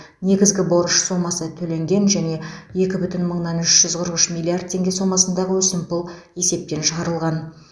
негізгі борыш сомасы төленген және екі бүтін мыңнан үш жүз қырық үш миллиард теңге сомасындағы өсімпұл есептен шығарылған